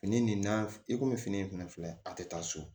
Fini nin na i komi fini in fɛnɛ filɛ a tɛ taa so